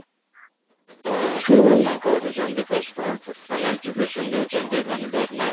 ତ ସେମାନେ କରୁଛନ୍ତି first କ'ଣ ସେମାନେ education ଦେଉଛନ୍ତି ଏଇ ମାନେ ଧରି ନେ